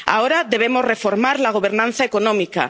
Ahora debemos reformar la gobernanza económica.